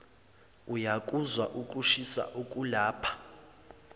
uyakuzwa ukushisa okulapha